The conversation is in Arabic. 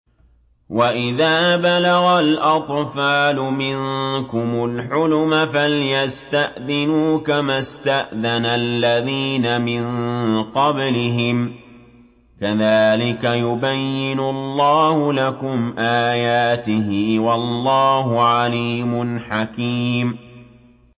وَإِذَا بَلَغَ الْأَطْفَالُ مِنكُمُ الْحُلُمَ فَلْيَسْتَأْذِنُوا كَمَا اسْتَأْذَنَ الَّذِينَ مِن قَبْلِهِمْ ۚ كَذَٰلِكَ يُبَيِّنُ اللَّهُ لَكُمْ آيَاتِهِ ۗ وَاللَّهُ عَلِيمٌ حَكِيمٌ